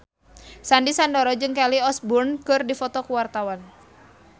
Sandy Sandoro jeung Kelly Osbourne keur dipoto ku wartawan